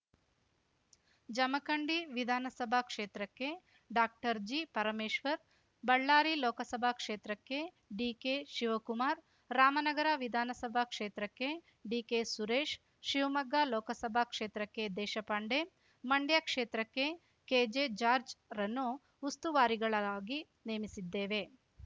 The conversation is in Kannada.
ಜಮಖಂಡಿ ವಿಧಾನಸಭಾ ಕ್ಷೇತ್ರಕ್ಕೆ ಡಾಕ್ಟರ್ಜಿ ಪರಮೇಶ್ವರ್‌ ಬಳ್ಳಾರಿ ಲೋಕಸಭಾ ಕ್ಷೇತ್ರಕ್ಕೆ ಡಿಕೆ ಶಿವಕುಮಾರ್‌ ರಾಮನಗರ ವಿಧಾನಸಭಾ ಕ್ಷೇತ್ರಕ್ಕೆ ಡಿಕೆ ಸುರೇಶ್‌ ಶಿವಮೊಗ್ಗ ಲೋಕಸಭಾ ಕ್ಷೇತ್ರಕ್ಕೆ ದೇಶಪಾಂಡೆ ಮಂಡ್ಯ ಕ್ಷೇತ್ರಕ್ಕೆ ಕೆಜೆ ಜಾರ್ಜ್ ರನ್ನು ಉಸ್ತುವಾರಿಗಳಾರಾಗಿ ನೇಮಿಸಿದ್ದೇವೆ